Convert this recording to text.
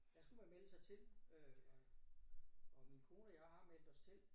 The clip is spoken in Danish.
Der skulle man melde sig til øh og og min kone og jeg har meldt os til